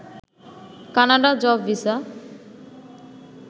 Canada job visa